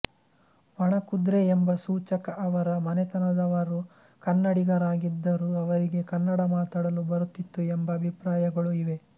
ವಣಕುದ್ರೆ ಎಂಬ ಸೂಚಕ ಅವರ ಮನೆತನೆದವರು ಕನ್ನಡಿಗರಾಗಿದ್ದರು ಅವರಿಗೆ ಕನ್ನಡ ಮಾತನಾಡಲು ಬರುತ್ತಿತ್ತು ಎಂಬ ಅಭಿಪ್ರಾಯಗಳೂ ಇವೆ